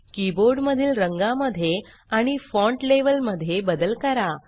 keyboard मधील रंगा मध्ये आणि फॉण्ट लेवेल मध्ये बदल करा